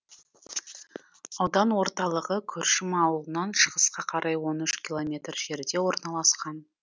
аудан орталығы күршім ауылынан шығысқа қарай он үш километр жерде орналасқан